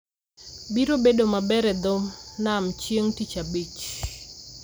biro bedo maber e dho nam chieng' Tich Abich